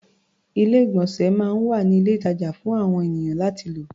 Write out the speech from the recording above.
Ilé-ìgbọ̀nsẹ̀ máa ń wà ní ilé-ìtàjà fún àon ènìyàn láti lò.